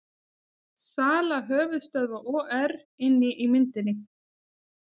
Sala höfuðstöðva OR inni í myndinni